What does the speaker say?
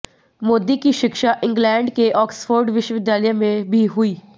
मोदी की शिक्षा इंग्लैण्ड के ऑक्सफोर्ड विश्वविद्यालय में भी हुई